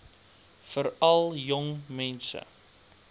veral jong mense